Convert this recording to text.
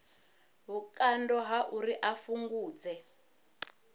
vhukando ha uri a fhungudze